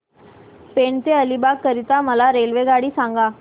पेण ते अलिबाग करीता मला रेल्वेगाडी सांगा